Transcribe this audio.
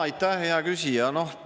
Aitäh, hea küsija!